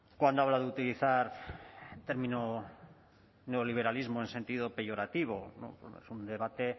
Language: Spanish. cuando habla de utilizar el término neoliberalismo en sentido peyorativo no bueno es un debate